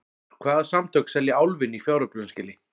Hvaða samtök selja Álfinn í fjáröflunarskyni?